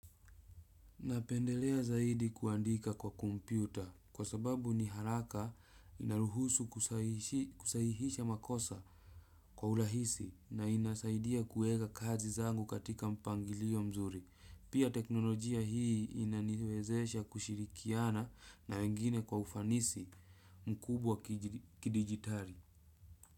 Napendelea zaidi kuandika kwa kutumia kompyuta kwa sababu ni haraka inaruhusu kusahihisha makosa kwa urahisi na inasaidia kuweka kazi zangu katika mpangili. Pia teknolojia hii inaniwezesha kushirikiana na wengine kwa ufanisi mkubwa kidijitali.